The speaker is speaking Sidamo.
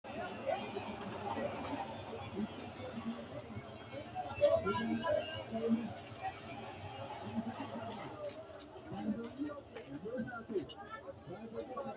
Manchu beetti tenne alamera hee’ranno wote umosi babbaxxitno jaddonni, dhibbinninna woleno tenne labbanno jaddonni hojjinnino ikko mitteenni gargadha hasiissannosi, Kuri lamu maricho yaamantanno?